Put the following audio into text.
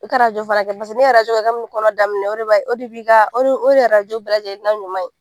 I ka fana kɛ , paseke ni ye ka bi ni kɔnɔ daminɛ o de bi ka, o de ye bɛɛ lajɛlen na ɲuman ye.